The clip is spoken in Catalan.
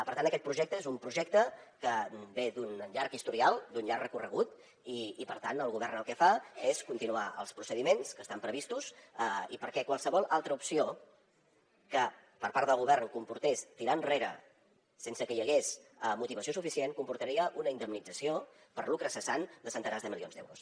per tant aquest projecte és un projecte que ve d’un llarg historial d’un llarg recorregut i per tant el govern el que fa és continuar els procediments que estan previstos i perquè qualsevol altra opció que per part del govern comportés tirar enrere sense que hi hagués motivació suficient comportaria una indemnització per lucre cessant de centenars de milions d’euros